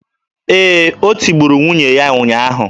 Ee, o tigburu nwunye ya ụnyaahụ